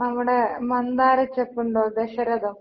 നമ്മുടെ മന്ദാരചെപ്പുണ്ടോ, ദശരഥം.